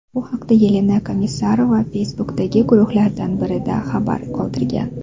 Bu haqda Yelena Komissarova Facebook’dagi guruhlardan birida xabar qoldirgan .